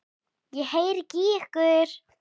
Ég heyri ekki í ykkur.